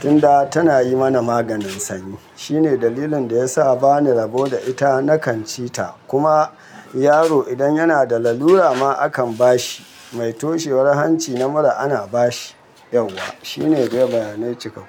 tun da tana yi mana maganin sanyi. Shine dalilin da ya sa bani rabo da ita, nakan ci ta. Kuma yaro idan yana da lallura ma akan ba shi. Mai toshewar hanci na mura ana ba shi, yauwa. Shine dai bayanai cikakken.